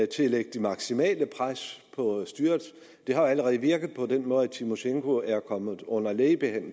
til at lægge det maksimale pres på styret det har allerede virket på den måde at tymosjenko er kommet under lægebehandling